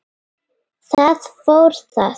Þar fór það.